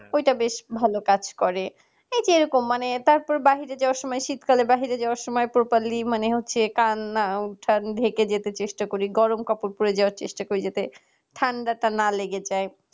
ঐটা বেশ ভালো কাজ করে এইযে এরকম মানে তারপর বাহিরে যাওয়ার সময় শীতকালে বাহিরে যাওয়ার সময় properly মানে হচ্ছে কান নাক ঢেকে যেতে চেষ্টা করি হয় গরম কাপড় পড়ে যাওয়ার চেষ্টা করি যাতে ঠান্ডাটা না লেগে যায়